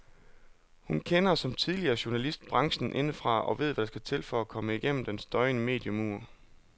Hun kender, som tidligere journalist, branchen indefra og ved hvad der skal til for at komme gennem den støjende mediemur.